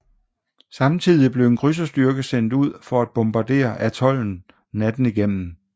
Samtidig blev en krydserstyrke sendt ud for at bombardere atollen natten igennem